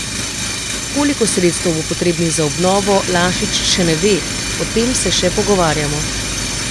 Koliko sredstev bo potrebnih za obnovo, Lašič še ne ve: 'O tem se še pogovarjamo.